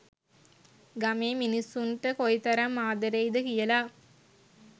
ගමේ මිනිස්සුන්ට කොයිතරම් ආදරෙයි ද කියලා